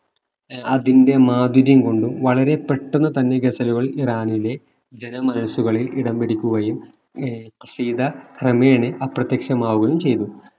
അതിന്റെ മാധുര്യം കൊണ്ടും വളരെ പെട്ടെന്ന് തന്നെ ഗസലുകൾ ഇറാനിലെ ജനമനസ്സുകളിൽ ഇടംപിടിക്കുകയും ഏർ ഖസീദ ക്രമേണെ അപ്രത്യക്ഷമാവുകയും ചെയ്തു